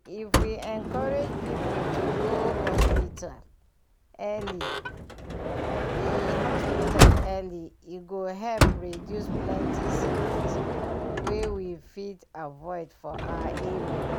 if we encourage people to go hospital early e hospital early e go help reduce plenty sickness wey we fit avoid for our area.